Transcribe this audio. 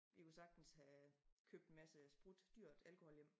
Vi kunne sagtens have købt en masse sprut dyrt alkohol hjem